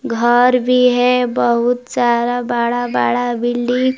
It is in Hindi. घर भी है बहुत सारा बड़ा बड़ा बिल्डिंग --